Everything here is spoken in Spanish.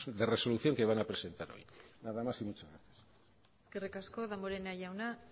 de resolución que van a presentar hoy nada más y muchas gracias eskerrik asko damborenea jauna